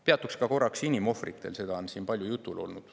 Peatuksin korraks ka inimohvritel, see on siin palju jutuks olnud.